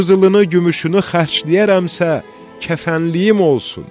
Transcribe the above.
Qızılını, gümüşünü xərcləyərəmsə, kəfənliyim olsun.